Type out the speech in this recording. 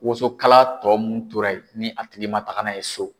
Wosonkala tɔ mun tora yen, ni a tigi ma taa n' a ye so